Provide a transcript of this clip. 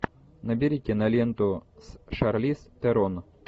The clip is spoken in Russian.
набери киноленту с шарлиз терон